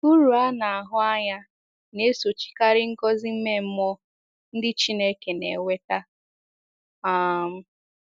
Uru a na-ahụ anya na - esochikarị ngọzi ime mmụọ ndị Chineke na - enweta um.